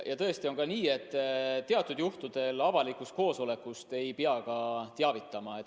Ja tõesti on nii, et teatud juhtudel avalikust koosolekust ei pea ka teavitama.